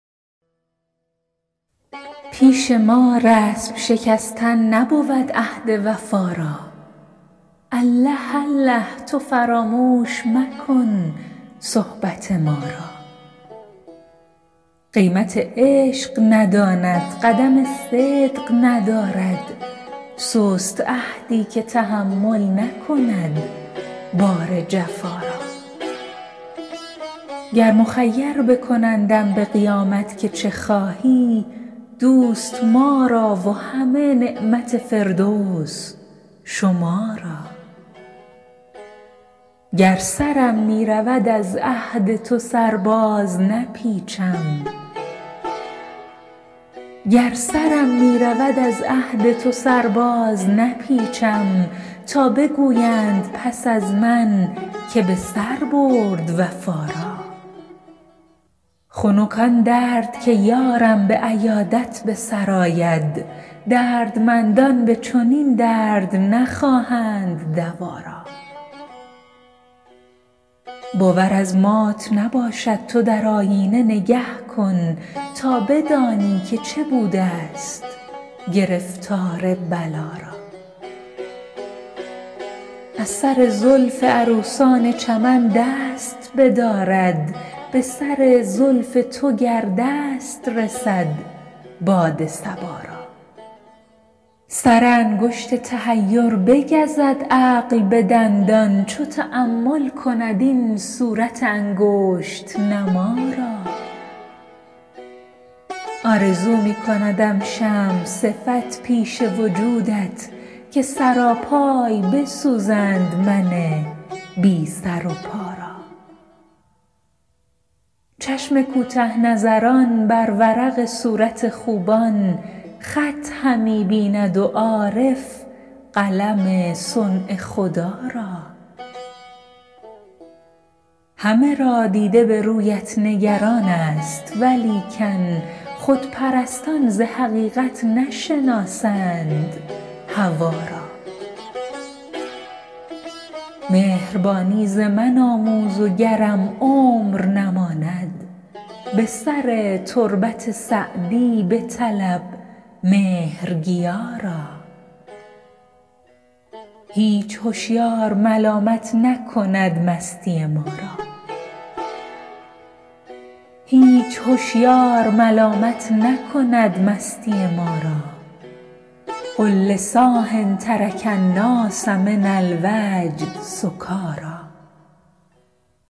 پیش ما رسم شکستن نبود عهد وفا را الله الله تو فراموش مکن صحبت ما را قیمت عشق نداند قدم صدق ندارد سست عهدی که تحمل نکند بار جفا را گر مخیر بکنندم به قیامت که چه خواهی دوست ما را و همه نعمت فردوس شما را گر سرم می رود از عهد تو سر بازنپیچم تا بگویند پس از من که به سر برد وفا را خنک آن درد که یارم به عیادت به سر آید دردمندان به چنین درد نخواهند دوا را باور از مات نباشد تو در آیینه نگه کن تا بدانی که چه بودست گرفتار بلا را از سر زلف عروسان چمن دست بدارد به سر زلف تو گر دست رسد باد صبا را سر انگشت تحیر بگزد عقل به دندان چون تأمل کند این صورت انگشت نما را آرزو می کندم شمع صفت پیش وجودت که سراپای بسوزند من بی سر و پا را چشم کوته نظران بر ورق صورت خوبان خط همی بیند و عارف قلم صنع خدا را همه را دیده به رویت نگران ست ولیکن خودپرستان ز حقیقت نشناسند هوا را مهربانی ز من آموز و گرم عمر نماند به سر تربت سعدی بطلب مهرگیا را هیچ هشیار ملامت نکند مستی ما را قل لصاح ترک الناس من الوجد سکاریٰ